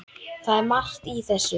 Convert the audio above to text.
Það er margt í þessu.